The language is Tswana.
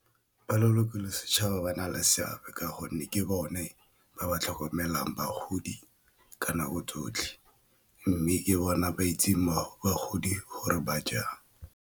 Ba leloko le setšhaba ba na le seabe ka gonne ke bone ba ba tlhokomelang bagodi ka nako tsotlhe mme ke bona ba itseng batho bagodi gore ba jang.